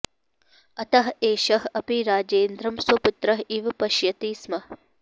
अतः एषः अपि राजेन्द्रं स्वपुत्रः इव पश्यति स्म